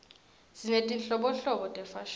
sinetinhlobonhlobo tefashini